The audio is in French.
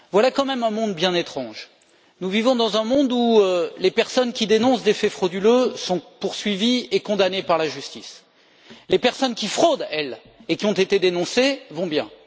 Voilà quand même un monde bien étrange nous vivons dans un monde où les personnes qui dénoncent des faits frauduleux sont poursuivies et condamnées par la justice et où les personnes qui fraudent et qui ont été dénoncées, elles, vont bien.